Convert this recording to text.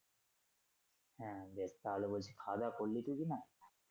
হ্যা বেশ তাহলে বলছি খাওয়া করবি টরবি না?